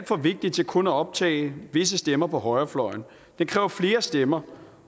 for vigtig til kun at optage visse stemmer på højrefløjen den kræver flere stemmer